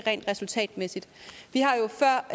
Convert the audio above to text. resultatmæssigt vi har jo før